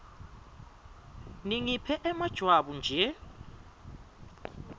ningiphe emajwabu nje